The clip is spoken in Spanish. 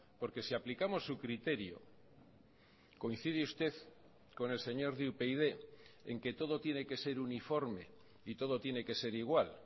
porque si aplicamos su criterio coincide usted con el señor de upyd en que todo tiene que ser uniforme y todo tiene que ser igual